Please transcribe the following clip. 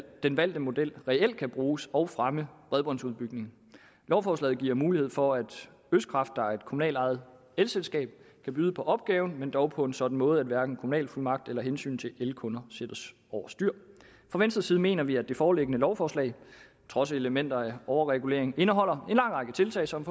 den valgte model reelt kan bruges og fremmer bredbåndsudbygningen lovforslaget giver mulighed for at østkraft der er et kommunalt ejet elselskab kan byde på opgaven men dog på en sådan måde at hverken kommunalfuldmagt eller hensynet til elkunder sættes over styr fra venstres side mener vi at det foreliggende lovforslag trods elementer af overregulering indeholder en lang række tiltag som